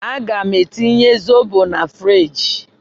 Aga m etinye zobo na friji.